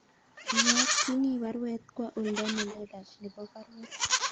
Iyakyini baruet kwa oldo nelelach nebo baruet